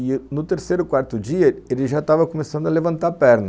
E no terceiro, quarto dia, ele já estava começando a levantar a perna.